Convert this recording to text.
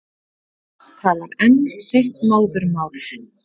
Talar enn sitt móðurmál.